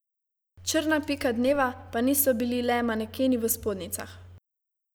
Črna pika dneva pa niso bili le manekeni v spodnjicah.